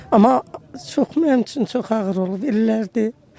Amma çox, mənim üçün çox ağır olub illərdir.